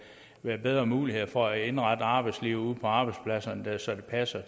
være bedre muligheder for at indrette arbejdslivet ude på arbejdspladserne så det passer